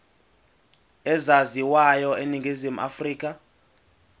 ezaziwayo eningizimu afrika